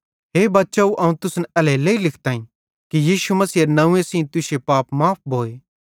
हे बच्चाव अवं तुसन एल्हेरेलेइ लिखताईं कि यीशु मसीहेरे नंव्वे सेइं तुश्शे पाप माफ़ भोए